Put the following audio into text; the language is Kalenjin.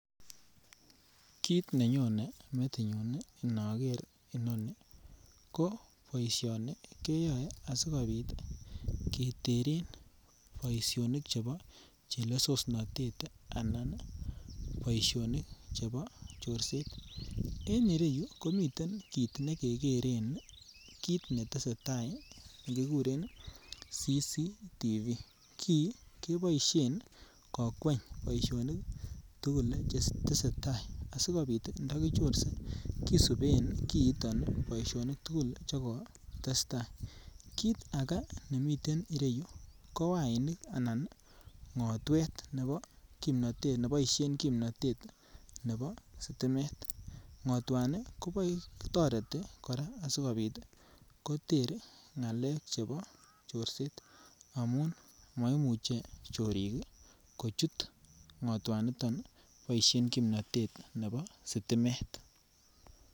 Kit nenyone metinyun inoker inoni ko boishoni keyoe asikopit keteren boishonik chebo chelesosnotet anan boishonik chebo chorset en ireyu komiten kit nekekeren kit netesetai nekiguren CCTV, kii keboishen kokweny boishonik tugul che tesetai asikopit ntoki chorse kisuben kiiton boishonik tugul che kotestai. Kit agee nemiten ireyu ko wainik anan ko ngotwet nebo kimnotet neboishen kimnotet nebo stimet, ngotwani kotoreti koraa asikopit koter ngalek chebo chorset amun moimuche chorik kochut ngotwa niton ni boishen kimnotet nebo stimet